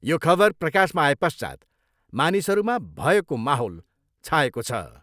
यो खबर प्रकाशमा आएपश्चात् मानिसहरूमा भयको माहौल छाएको छ।